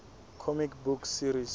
comic book series